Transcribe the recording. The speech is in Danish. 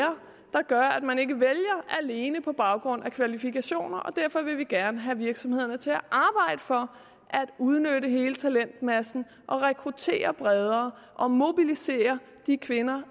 der gør at man ikke vælger alene på baggrund af kvalifikationer og derfor vil vi gerne have virksomhederne til at arbejde for at udnytte hele talentmassen og rekruttere bredere og mobilisere de kvinder